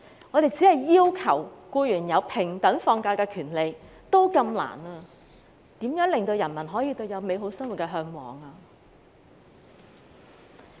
我們連要求僱員有平等放假的權利都這麼困難，如何令人民可以嚮往美好的生活？